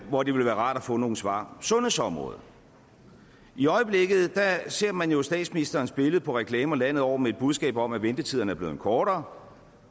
hvor det ville være rart at få nogle svar sundhedsområdet i øjeblikket ser man jo statsministerens billede på reklamer landet over med et budskab om at ventetiderne er blevet kortere